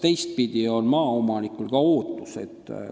Teistpidi vaadates on ka maaomanikul oma ootus.